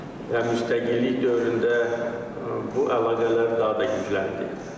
Və müstəqillik dövründə bu əlaqələr daha da gücləndi.